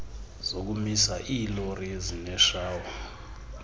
zokumisa iilori ezineshawa